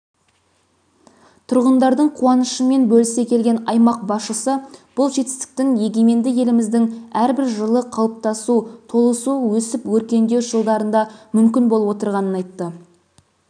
тұрғындардың қуанышымен бөлісе келген аймақ басшысы бұл жетістіктің егеменді еліміздің әрбір жылы қалыптасу толысу өсіп-өркендеу жылдарында мүмкін болып отырғанын айтты